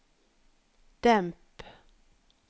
demp